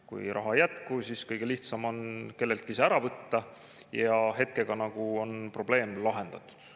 Kui raha ei jätku, siis kõige lihtsam on kelleltki see ära võtta ja hetkega ongi nagu probleem lahendatud.